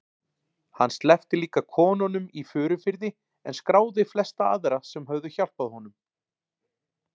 Hann sleppti líka konunum í Furufirði en skráði flesta aðra sem höfðu hjálpað honum.